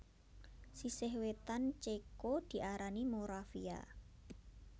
Sisih wétan Céko diarani Moravia